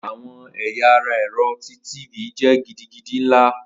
Awọn ẹya ara ẹrọ ti tv jẹ gidigidi nla.